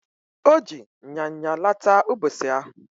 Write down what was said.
Oji nyanya laata ubosi ahu